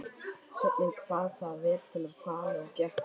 Sveinninn kvað það vel til fallið og gekk fram.